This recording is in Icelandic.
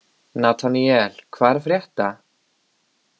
Nataníel, hvað er að frétta?